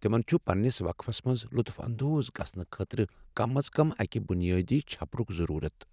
تِمن چُھ پننِس وقفس منٛز لطف اندوز گژھنہٕ خٲطرٕ کم از کم اَکِہ بنیٲدی چھپرک ضرورت ۔